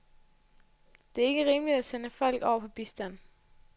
Det er ikke rimeligt at sende folk over på bistand.